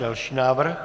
Další návrh.